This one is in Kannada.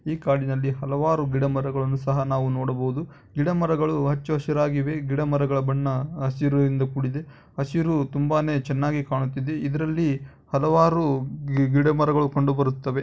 ಈ ಕಾಡಿನಲ್ಲಿ ನಾವು ಹಲವಾರು ಗಿಡಮರಗಳನ್ನುಸಹ ನೋಡಬಹುದು. ಗಿಡ ಮರಗಳು ಹಚ್ಚ ಹಸಿರು ಆಗಿವೆ. ಗಿಡಮರಗಳ ಬಣ್ಣ ಹಸಿರಿನಿಂದ ಕೂಡಿದೆ ಹಸಿರು ಚೆನ್ನಾಗಿ ಕಾಣುತ್ತಿದೆ. ಇದರಲ್ಲಿ ಹಲವಾರು ಗಿಡ ಮರಗಳು ಕಂಡುಬರುತ್ತವೆ.